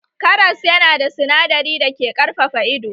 Karas yana da sinadari dake ƙarfafa ido